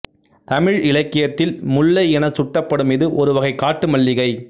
தமிழ் இலக்கியத்தில் முல்லை எனச் சுட்டப்படும் இது ஒரு வகை காட்டு மல்லிகை